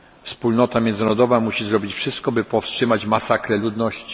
Wspólnota międzynarodowa musi zrobić wszystko, by powstrzymać masakrę ludności.